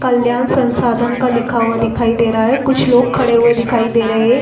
कल्याण संसाधन का लिखा हुआ दिखाई दे रहा है कुछ लोग खड़े हुए दिखाई दे रहें हैं।